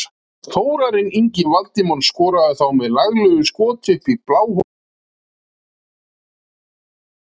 Þórarinn Ingi Valdimarsson skoraði þá með laglegu skoti upp í bláhornið á lokamínútu fyrri hálfleiks.